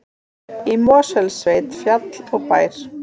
Í Mosfellssveit, fjall og bær.